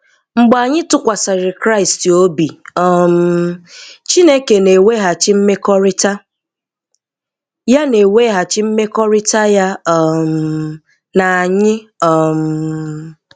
Mgbe anyị tụkwasịrị Kraịst obi, um Chineke na-eweghachi mmekọrịta ya na-eweghachi mmekọrịta ya um na anyị. um